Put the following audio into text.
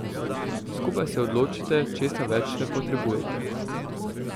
Skupaj se odločite, česa več ne potrebuje.